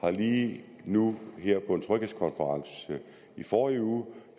har lige nu her på en tryghedskonference i forrige uge